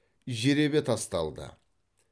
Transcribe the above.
жеребе тасталды